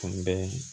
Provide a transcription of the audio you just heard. Kun bɛɛ